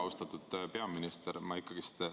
Austatud peaminister!